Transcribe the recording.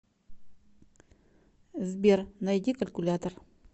сбер найди калькулятор